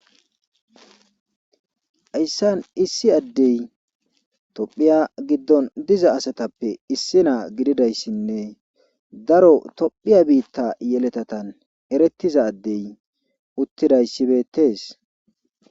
hayssan issi adey tophiya giddon diza asatappe issi naa gididayssinne daro tophiya biitta yeletatan erettiza adey uttidayssi beettees.